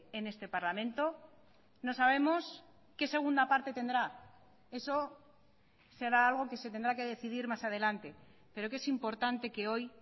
en este parlamento no sabemos qué segunda parte tendrá eso será algo que se tendrá que decidir más adelante pero que es importante que hoy